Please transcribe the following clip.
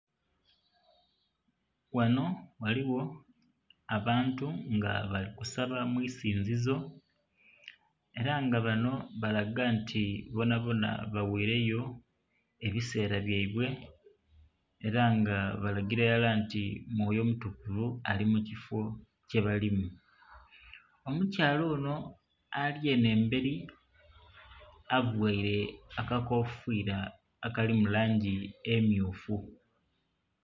Ghanho ghaligho abantu nga bali kusabo mu isinzizo era nga bano balaga nti bonabona bawaireyo ebisera byaibwe era nga balagira irala nti mwoyo mutukuvu ali mukifo kyebalimu. Omukyala ono ali eno emberi avaire akakofiira akali mu langi emmyufu.